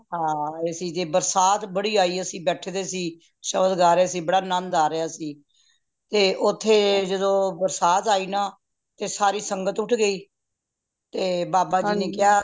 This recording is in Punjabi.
ਹਾਂ ਆਏ ਸੀ ਤੇ ਬਰਸਾਤ ਬੜੀ ਆਈ ਅੱਸੀ ਬੈਠੇ ਦੇ ਸੀ ਸ਼ਬਦ ਗਏ ਰੇ ਸੀ ਬੜਾ ਅਨੰਦ ਆ ਰੇਯਾ ਸੀ ਤੇ ਓਥੇ ਜਦੋ ਬਰਸਾਤ ਆ ਈ ਨਾ ਤੇ ਸਾਰੀ ਸੰਗਤ ਉੱਠ ਗਯੀ ਤੇ ਬਾਬਾ ਜੀ ਨੇ ਕੇਯਾ